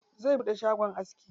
Zai buɗe shagon aski.